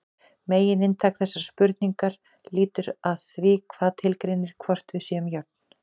Megininntak þessarar spurningar lítur að því hvað tilgreinir hvort við séum jöfn.